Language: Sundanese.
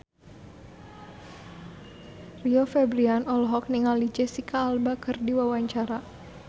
Rio Febrian olohok ningali Jesicca Alba keur diwawancara